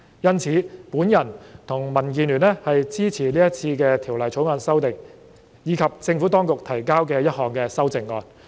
因此，我和民建聯支持《條例草案》的修訂，以及政府當局提交的一項修正案。